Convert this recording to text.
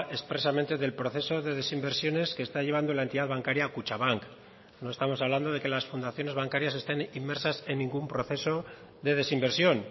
expresamente del proceso de desinversiones que está llevando la entidad bancaria kutxabank no estamos hablando de que las fundaciones bancarias estén inmersas en ningún proceso de desinversión